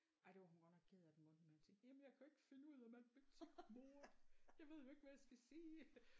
Ej det var hun godt nok ked af den mundtlige matematik jamen jeg kan jo ikke finde ud af matematik mor jeg ved jo ikke hvad jeg skal sige